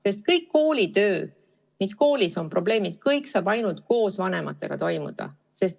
Sest kõikide kooliga seotud probleemide lahendamine saab ainult koos vanematega toimuda.